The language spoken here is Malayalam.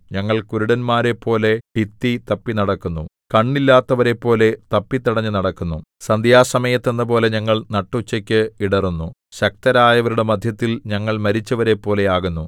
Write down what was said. ഞങ്ങൾ കുരുടന്മാരെപ്പോലെ ഭിത്തി തപ്പിനടക്കുന്നു കണ്ണില്ലാത്തവരെപ്പോലെ തപ്പിത്തടഞ്ഞു നടക്കുന്നു സന്ധ്യാസമയത്ത് എന്നപോലെ ഞങ്ങൾ നട്ടുച്ചയ്ക്ക് ഇടറുന്നു ശക്തരയവരുടെ മദ്ധ്യത്തിൽ ഞങ്ങൾ മരിച്ചവരെപ്പോലെ ആകുന്നു